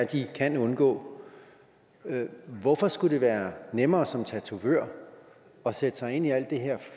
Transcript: de kan undgå hvorfor skulle det være nemmere som tatovør at sætte sig ind i alt det her